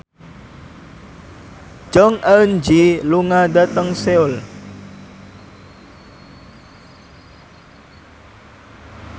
Jong Eun Ji lunga dhateng Seoul